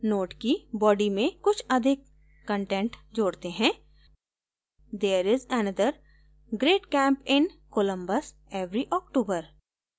node की body में कुछ अधिक content जोडते हैं there is another great camp in columbus every october